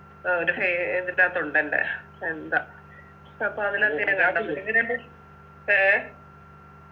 അവൻ്റെ ഫെ ഇതിൻ്റെത്തുണ്ട് അല്ലെ എന്താ അപ്പൊ അതിലൊക്കെ എങ്ങനിണ്ട് ഏഹ്